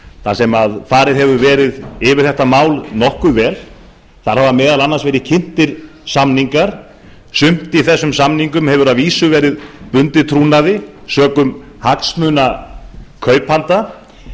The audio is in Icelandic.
þar sem farið hefur verið yfir þetta mál nokkuð vel þar hafa meðal annars verið kynntir samningar sumt í þessum samningum hefur að vísu verið bundið trúnaði sökum hagsmuna kaupanda